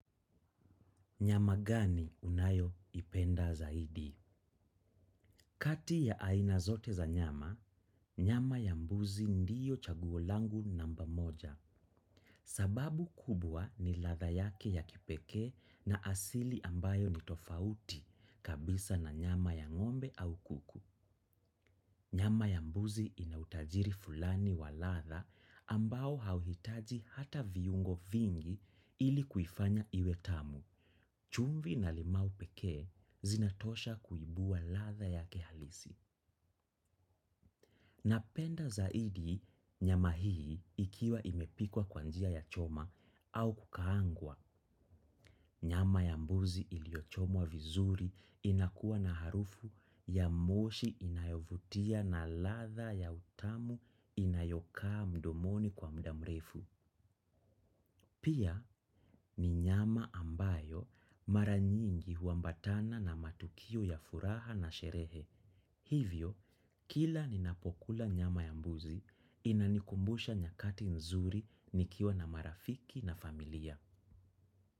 Nyama gani unayo ipenda zaidi? Kati ya aina zote za nyama, nyama ya mbuzi ndiyo chaguo langu namba moja. Sababu kubwa ni ladha yake ya kipekee na asili ambayo ni tofauti kabisa na nyama ya ngombe au kuku. Nyama ya mbuzi ina utajiri fulani wa ladha ambao hauhitaji hata viungo vingi ili kuifanya iwe tamu. Chumvi na limau pekee zinatosha kuibua ladha yake halisi. Napenda zaidi nyama hii ikiwa imepikwa kwa njia ya choma au kukaangwa. Nyama ya mbuzi iliyochomwa vizuri inakuwa na harufu ya moshi inayovutia na ladha ya utamu inayokaa mdomoni kwa mudamrefu. Pia ni nyama ambayo mara nyingi huambatana na matukio ya furaha na sherehe. Hivyo, kila ninapokula nyama ya mbuzi, inanikumbusha nyakati nzuri nikiwa na marafiki na familia.